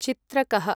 चित्रकः